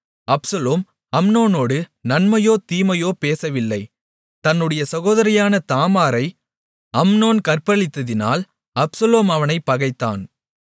Absalom அம்னோனோடு நன்மையோ தீமையோ பேசவில்லை தன்னுடைய சகோதரியான தாமாரை அம்னோன் கற்பழித்ததினால் அப்சலோம் அவனைப் பகைத்தான்